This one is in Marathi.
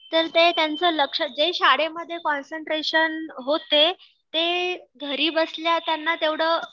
तर ते त्यांचे लक्ष जे शाळेमध्ये कॉन्सन्ट्रेशन होते ते घरी बसल्या त्यांना तेवढं